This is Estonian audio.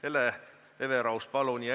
Hele Everaus, palun!